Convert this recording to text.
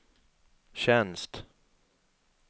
tjänst